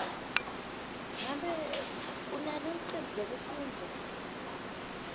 ngabe unalo licembu lekufundza